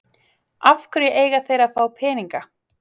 Af hverju eiga þeir að fá peninga?